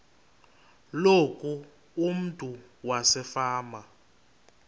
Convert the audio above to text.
loku umntu wasefama